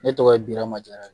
Ne tɔgɔ ye Birama